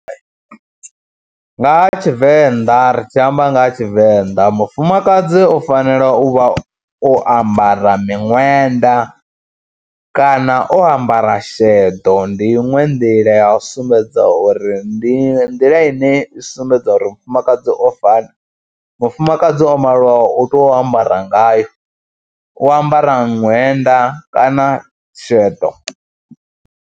Nga ha Tshivenḓa ri tshi amba nga ha Tshivenḓa, mufumakadzi u fanela u vha o ambara miṅwenda kana o ambara sheḓo, ndi iṅwe nḓila ya u sumbedza uri ndi nḓila ine i sumbedza uri mufumakadzi o fana, mufumakadzi o maliwaho u tea ambara ngayo, u ambara ṅwenda kana sheḓo.